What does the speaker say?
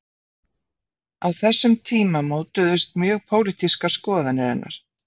Á þessum tíma mótuðust mjög pólitískar skoðanir hennar.